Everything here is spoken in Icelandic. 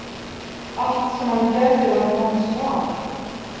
Allt sem hann gerði var hans val.